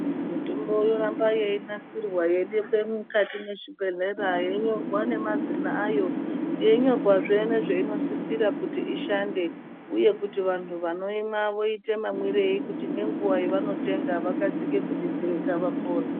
Mutombo inoramba yeinasirwa yeidekwe mukati mwezvibhedhlera, yeinyorwa nemazina ayo ayo yeinyorwazve nezveinosisira kuti ishande uye kuti vanhu vanoimwa woite mamwirei kuti ngenguva yevanotenga vakasike kudetsereka kuti vapore.